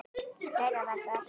. fleira var það ekki.